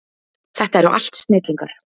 Þetta eru allt snillingar.